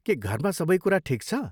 के घरमा सबै कुरा ठिक छ?